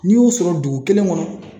N'i y'o sɔrɔ dugu kelen kɔnɔ.